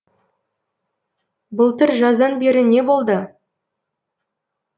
былтыр жаздан бері не болды